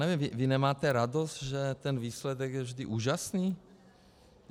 Nevím, vy nemáte radost, že ten výsledek je vždy úžasný?